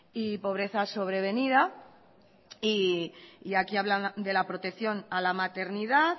y pobreza sobrevenida y aquí hablan de la protección a la maternidad